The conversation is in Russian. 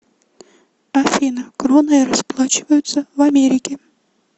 афина кроной расплачиваются в америке